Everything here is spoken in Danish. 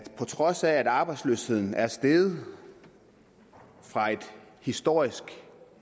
på trods af at arbejdsløsheden er steget fra et historisk